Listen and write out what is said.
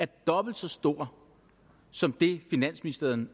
dobbelt så stor som det finansministeriet